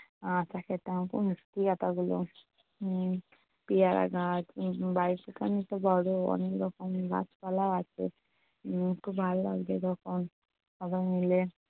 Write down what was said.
আতা খেতাম খুব মিষ্টি আতা গুলো উম পেয়ারা গাছ উম বাড়িটা তো অনেকটা বড়ো অনেক রকম গাছ পালাও আছে উম খুব ভালো লাগতো যখন সবাই মিলে